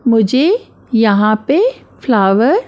मुझे यहाँ पे फ्लावर --